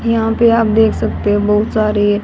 यहां पे आप देख सकते है बहुत सारी--